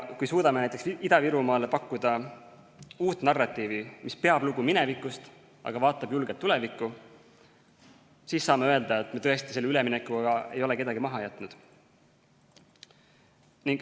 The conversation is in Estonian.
Kui suudame näiteks Ida-Virumaale pakkuda uut narratiivi, mis peab lugu minevikust, aga vaatab julgelt tulevikku, siis saame öelda, et me tõesti selle üleminekuga ei ole kedagi maha jätnud.